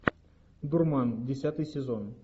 дурман десятый сезон